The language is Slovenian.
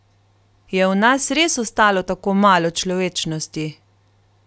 Je v nas res ostalo tako malo človečnosti?